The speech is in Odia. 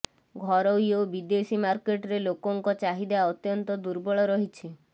ଘରୋଇ ଓ ବିଦେଶୀ ମାର୍କେଟରେ ଲୋକଙ୍କ ଚାହିଦା ଅତ୍ୟନ୍ତ ଦୁର୍ବଳ ରହିଛି